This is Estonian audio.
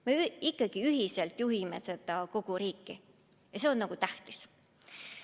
Me ikkagi ühiselt juhime seda riiki ja see on tähtis.